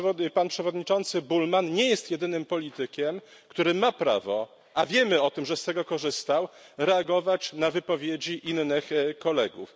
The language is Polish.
Pan poseł Bullmann nie jest jedynym politykiem, który ma prawo a wiemy o tym, że z tego korzystał reagować na wypowiedzi innych kolegów.